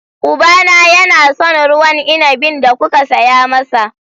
Ubana yana son ruwan inabin da kuka saya masa.